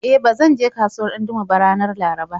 E, ba zan je kasuwar Dandume ba ranar Laraba.